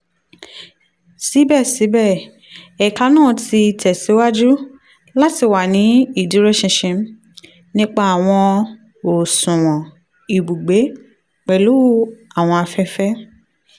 sibẹsibẹ ẹka naa ti tẹsiwaju lati wa ni iduroṣinṣin nipa awọn oṣuwọn ibugbe pelu awọn afẹfẹ